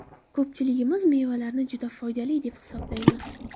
Ko‘pchiligimiz mevalarni juda foydali deb hisoblaymiz.